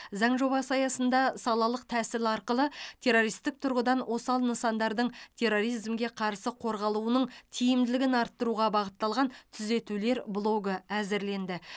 заң жобасы аясында салалық тәсіл арқылы террористік тұрғыдан осал нысандардың терроризмге қарсы қорғалуының тиімділігін арттыруға бағытталған түзетулер блогы әзірленді